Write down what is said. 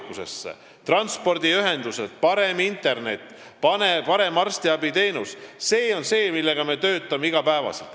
Paremad transpordiühendused, parem internet, parem arstiabiteenus – see on see, mille nimel me töötame iga päev.